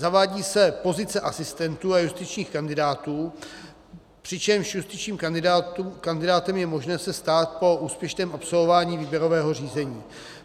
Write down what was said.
Zavádí se pozice asistentů a justičních kandidátů, přičemž justičním kandidátem je možné se stát po úspěšném absolvování výběrového řízení.